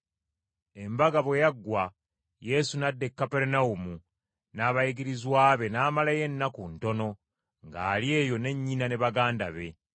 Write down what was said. Embaga bwe yaggwa Yesu n’adda e Kaperunawumu n’abayigirizwa be n’amalayo ennaku ntono ng’ali eyo ne nnyina ne baganda be.